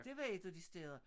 Det var et af de steder